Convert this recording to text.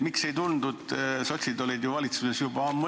Sotsid olid valitsuses juba ammuilma.